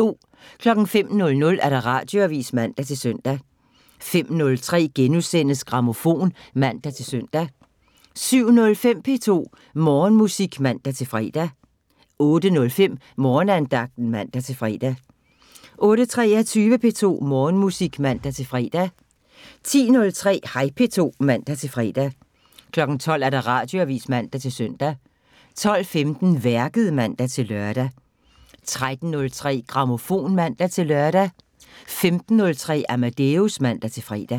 05:00: Radioavisen (man-søn) 05:03: Grammofon *(man-søn) 07:05: P2 Morgenmusik (man-fre) 08:05: Morgenandagten (man-fre) 08:23: P2 Morgenmusik (man-fre) 10:03: Hej P2 (man-fre) 12:00: Radioavisen (man-søn) 12:15: Værket (man-lør) 13:03: Grammofon (man-lør) 15:03: Amadeus (man-fre)